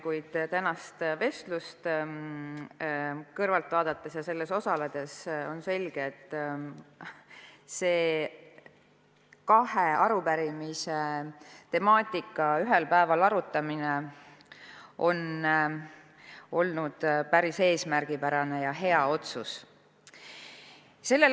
Kuid tänast vestlust kõrvalt vaadates ja selles osaledes on saanud selgeks, et kahe arupärimise temaatika ühel päeval arutamine on olnud päris eesmärgipärane ja hea otsus.